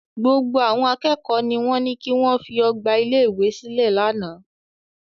Gbogbo àwọn akẹ́kọ̀ọ́ ni wọ́n ní kí wọ́n fi ọgbà ilé-ìwé sílẹ̀ lánàá.